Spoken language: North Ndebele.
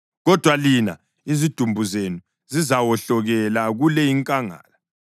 Kodwa lina, izidumbu zenu zizawohlokela kule inkangala.